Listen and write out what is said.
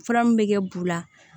Fura min bɛ kɛ bu la